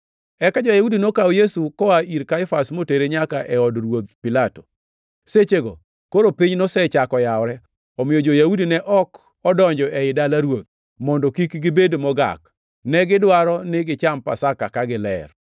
Eka jo-Yahudi nokawo Yesu koa ir Kaifas motere nyaka e od ruoth Pilato. Sechego koro piny nosechako yawore, omiyo jo-Yahudi ne ok odonjo ei dala ruoth, mondo kik gibed mogak. Negidwaro ni gicham Pasaka ka giler.